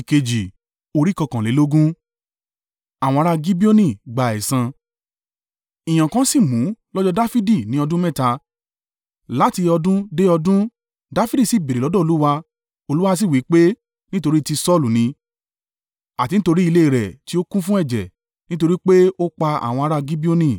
Ìyàn kan sì mú lọ́jọ́ Dafidi ní ọdún mẹ́ta, láti ọdún dé ọdún; Dafidi sì béèrè lọ́dọ̀ Olúwa, Olúwa sì wí pé, “Nítorí ti Saulu ni, àti nítorí ilé rẹ̀ tí ó kún fún ẹ̀jẹ̀, nítorí pé ó pa àwọn ará Gibeoni.”